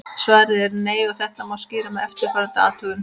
Svarið er nei og þetta má skýra með eftirfarandi athugun.